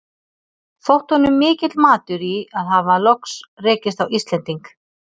Þótti honum mikill matur í að hafa loks rekist á Íslending.